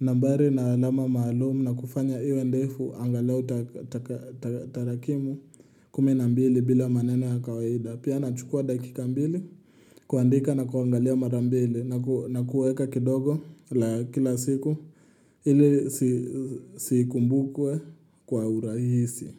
Nambari na alama maalumu na kufanya iwe ndefu angalau tarakimu kumi na mbili bila maneno ya kawaida. Pia nachukua dakika mbili kuandika na kuangalia mara mbili na kuweka kidogo la kila siku ili sikumbukwe kwa urahisi.